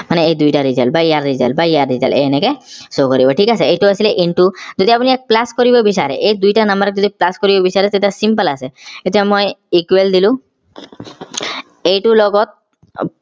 মানে এই দুইটাৰ result বা ইয়াৰ result বা ইয়াৰ result এনেকে show কৰিব ঠিক আছে এইটো আছিলে into যদি আপোনি ইয়াক plus কৰিব বিছাৰে এই দুইটা number ক যদি plus কৰিব বিছাৰে তেতিয়া simple আছে এতিয়া মই equal দিলো এইটোৰ লগত